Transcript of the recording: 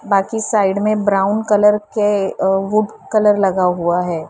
बाकी साइड में brown colour के अ वुड कलर लगा हुआ है।